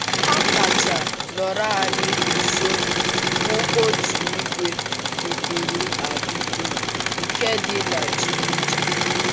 Ha kacha nọrò anyị nso bụ otu ìgwè dịpùrụ adịpụ nke dị na Jinja.